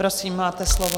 Prosím, máte slovo.